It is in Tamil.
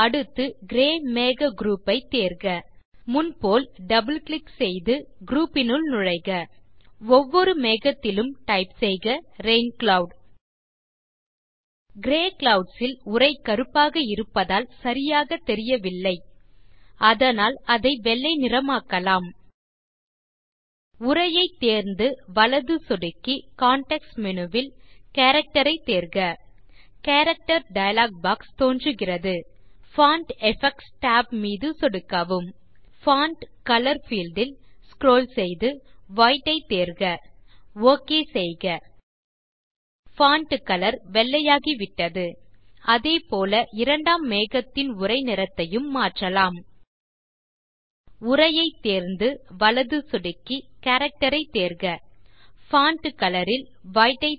அடுத்து கிரே மேக குரூப் பை தேர்க முன் போல் இரட்டை சொடுக்கி குரூப் னுள் நுழைக ஒவ்வொரு மேகத்திலும் டைப் செய்க ரெயின் க்ளவுட் கிரே க்ளவுட்ஸ் இல் உரை கருப்பாக இருப்பதால் சரியாக தெரியவில்லை அதனால் அதை வெள்ளை நிறமாக்கலாம் உரையை தேர்ந்து வலது சொடுக்கி கான்டெக்ஸ்ட் மேனு வில் கேரக்டர் ஐ தேர்க கேரக்டர் டயலாக் பாக்ஸ் தோன்றுகிறது பான்ட் எஃபெக்ட்ஸ் tab மீது சொடுக்கவும் பான்ட் கலர் பீல்ட் இல் ஸ்க்ரோல் செய்து வைட் ஐ தேர்க ஒக் செய்க பான்ட் கலர் வெள்ளை ஆகிவிட்டது அதே போல இரண்டாம் மேகத்தின் உரை நிறத்தையும் மாற்றலாம் உரையை தேர்ந்து வலது சொடுக்கி கேரக்டர் ஐ தேர்க பான்ட் கலர் இல் வைட்